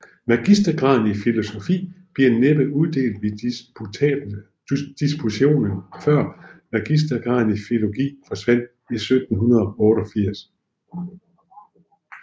Magistergraden i filosofi blev næppe uddelt ved disputation før magistergraden i filologi forsvandt i 1788